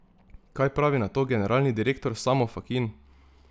Kaj pravi na to generalni direktor Samo Fakin?